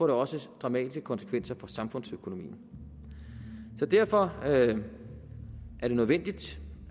det også få dramatiske konsekvenser for samfundsøkonomien derfor er det nødvendigt